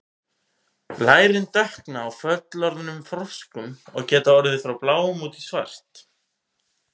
lærin dökkna á fullorðnum froskum og geta orðið frá bláum út í svart